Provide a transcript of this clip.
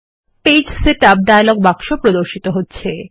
পৃষ্ঠা setup dialog বাক্সে প্রদর্শিত হচ্ছে